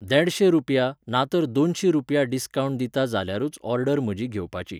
देडशें रुपया, नातर दोनशीं रुपया डिस्कावंट दिता जाल्यारूच ऑर्डर म्हजी घेवपाची.